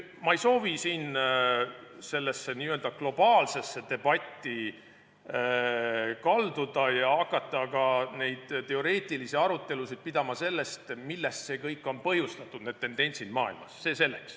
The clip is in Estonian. Ma ei soovi siin sellesse globaalsesse debatti kalduda ega hakata pidama teoreetilisi arutelusid selle üle, millest kõigest on põhjustatud need tendentsid maailmas.